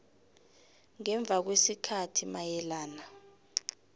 ngemva kwesikhathi mayelana